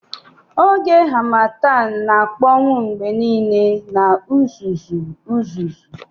Oge Harmattan na-akpọnwụ mgbe niile na uzuzu uzuzu